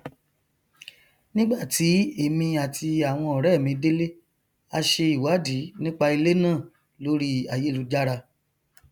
nígbàtí èmi àti àwọn ọrẹ mi délé a se ìwádìí nípa ilé náà lórí ayélujára